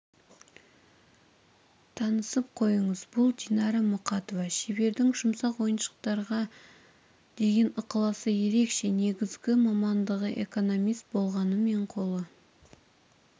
танысып қойыңыз бұл динара мұқатова шебердің жұмсақ ойыншықтарға деген ықыласы ерекше негізгі мамандығы экономист болғанымен қолы